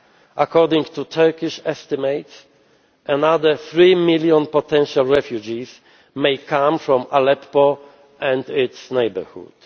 According to Turkish estimates, another three million potential refugees may come from Aleppo and its neighbourhood.